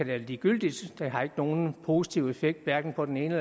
være ligegyldigt det har ikke nogen positiv effekt hverken på den ene